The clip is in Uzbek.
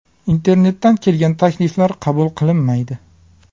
Internetdan kelgan takliflar qabul qilinmaydi.